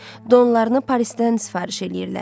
Donlarını Parisdən sifariş eləyirlər.